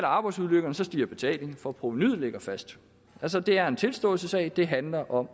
af arbejdsulykker stiger betalingen for provenuet ligger fast altså det er en tilståelsessag det handler om